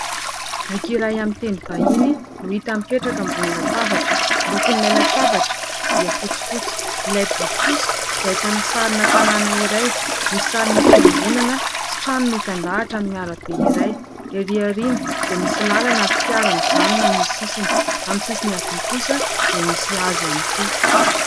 Boky iray amin'ny teny vahiny no hita mipetraka ambony latabatra. Lokon'ilay latabatra dia fotsifotsy, ilay boky kosa dia ahitana sarina tanàna iray misy sarina fiangonana sy trano mitan-dahatra amin'ny arabe iray, erỳ aoriana dia misy lalana ary fiara mijanona amin'ny sisiny, amin'ny sisiny havia kosa dia misy hazo ihany koa.